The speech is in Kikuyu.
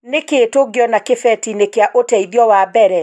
Nĩ kĩĩ tungĩona kĩbeti-ĩnĩ kĩa ũteĩthĩo wa mbere.